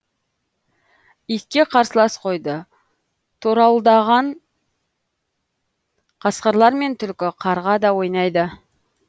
итке қарсылас қойды торауылдаған қасқырлар мен түлкі қарға да ойнайды